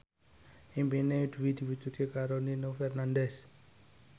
impine Dwi diwujudke karo Nino Fernandez